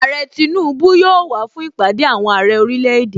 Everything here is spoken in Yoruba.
Àrẹ Tinubu yóò wàá fún Ìpàdé àwọn Àrẹ orílẹ̀ èdè.